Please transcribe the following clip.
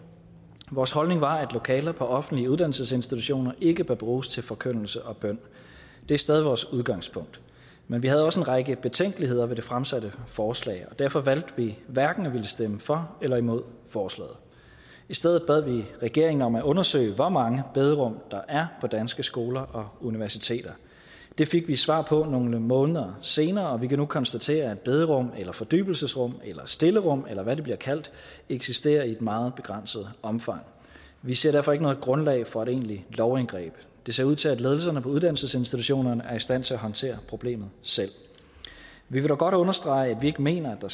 vores holdning var at lokaler på offentlige uddannelsesinstitutioner ikke bør bruges til forkyndelse og bøn det er stadig vores udgangspunkt men vi havde også en række betænkeligheder ved det fremsatte forslag og derfor valgte vi hverken at ville stemme for eller imod forslaget i stedet bad vi regeringen om at undersøge hvor mange bederum der er på danske skoler og universiteter det fik vi svar på nogle måneder senere og vi kan nu konstatere at bederum eller fordybelsesrum eller stillerum eller hvad de bliver kaldt eksisterer i et meget begrænset omfang vi ser derfor ikke noget grundlag for et egentligt lovindgreb det ser ud til at ledelserne på uddannelsesinstitutionerne er i stand til at håndtere problemet selv vi vil dog godt understrege at vi ikke mener at